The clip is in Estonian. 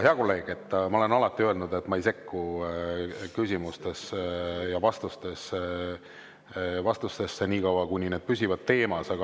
Hea kolleeg, ma olen alati öelnud, et ma ei sekku küsimustesse ja vastustesse nii kaua, kuni need püsivad teemas.